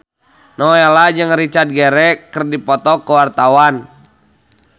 Nowela jeung Richard Gere keur dipoto ku wartawan